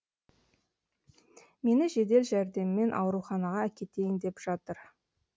мені жедел жәрдеммен ауруханаға әкетейін деп жатыр